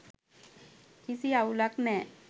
කිසි අවුලක් නෑ.